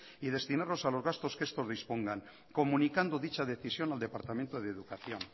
y destinarlos a los gastos que estos dispongan comunicando dicha decisión al departamento de educación